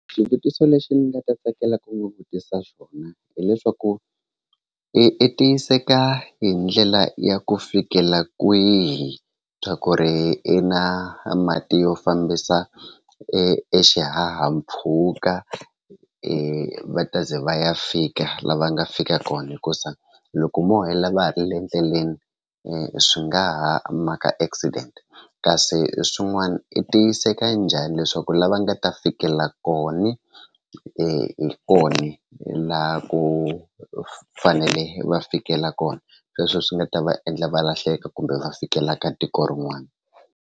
Xivutiso lexi ni nga ta tsakela ku n'wi vutisa xona hileswaku i tiyiseka hi ndlela ya ku fikela kwihi swa ku ri i na mati yo fambisa e xihahampfhuka e va ta ze va ya fika la va nga fika kona hikuza loko mo hela va ha ri le endleleni swi nga ha maka accident kasi swin'wana i tiyiseka njhani leswaku lava nga ta fikela kona hi kona laha ku fanele va fikela kona sweswo swi nga ta va endla va lahleka kumbe va fikelelaka tiko rin'wana.